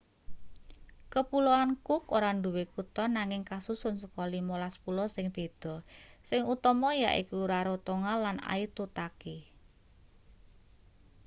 kepuloan cook ora duwe kutha nanging kasusun saka 15 pulau sing beda sing utama yaiku rarotonga lan aitutaki